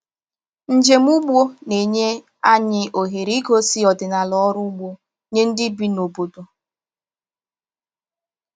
Njem ugbo na-enye anyị ohere igosi ọdịnala ọrụ ugbo nye ndị bi n’obodo.